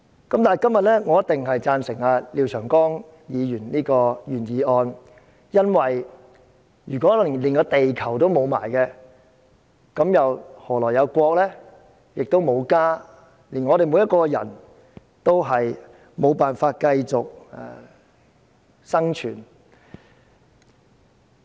今天，我一定贊成廖長江議員的原議案，因為如果連地球都失去，何來有"國"，更沒有"家"，我們所有人都沒法繼續生存。